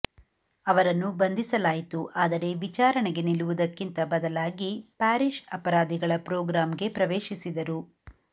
ಅವರನ್ನು ಬಂಧಿಸಲಾಯಿತು ಆದರೆ ವಿಚಾರಣೆಗೆ ನಿಲ್ಲುವುದಕ್ಕಿಂತ ಬದಲಾಗಿ ಪ್ಯಾರಿಶ್ ಅಪರಾಧಿಗಳ ಪ್ರೋಗ್ರಾಂಗೆ ಪ್ರವೇಶಿಸಿದರು